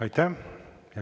Aitäh!